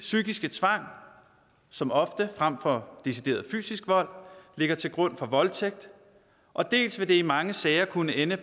psykiske tvang som ofte frem for decideret fysisk vold ligger til grund for voldtægt og dels vil det i mange sager kunne ende